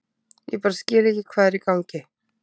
Ég bara skil ekki hvað er í gangi.